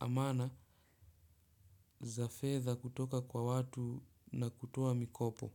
amana za fedha kutoka kwa watu na kutoa mikopo.